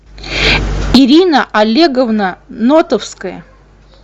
ирина олеговна нотовская